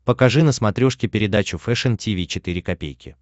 покажи на смотрешке передачу фэшн ти ви четыре ка